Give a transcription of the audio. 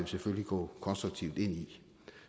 selvfølgelig gå konstruktivt ind i